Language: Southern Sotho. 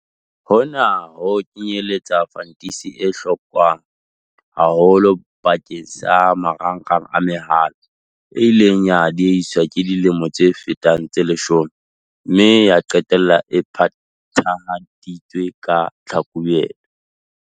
Hona ho kenyeletsa fantisi e hlokwang haholo bakeng sa marangrang a mehala, e ileng ya diehiswa ka dilemo tse fetang tse leshome mme ya qetella e phethahaditswe ka Tlhakubele.